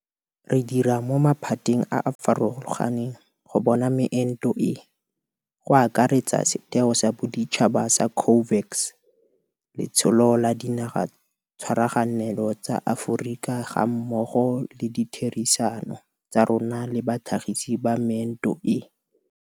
Re ntse re tsweletse go reka didiriswa tsa itshireletso, PPE, go tswa kwa dinageng tsa kwa ntle mmogo le go tshegetsa ditlamo tsa ka fa nageng gore di kgone go ka tlhagisa didirisiwa tseno, Moporesitente Cyril Ramaphosa o totobatsa ntlha eno.